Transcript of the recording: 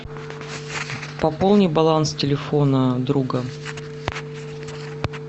пополни баланс телефона друга